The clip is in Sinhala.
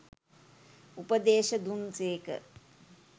උපදේශ දුන් සේක.